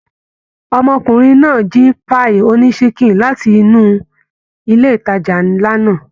Ọmọkùnrin náà jí páíì ònísikin láti inú ilé ìtajà nlá náà.